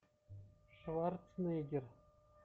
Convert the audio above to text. шварценеггер